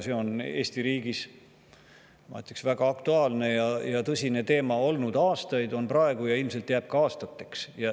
See on Eesti riigis, ma ütleksin, olnud aastaid väga aktuaalne ja tõsine teema, on seda praegugi ja ilmselt jääb nii aastateks.